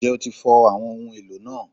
Njẹ o ti fọ awọn ohun elo naa?